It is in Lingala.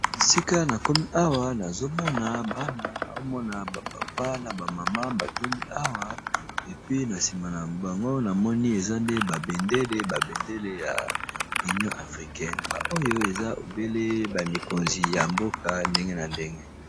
Esika na komi awa, nazo mona bana, nazo mona ba papa naba mama ba tondi awa. Epui, na nsima na bango na moni eza nde ba bendele, ba bendele ya union africaine. Ba oyo, eza obele ba mikonzi ya mboka ndenge na ndenge.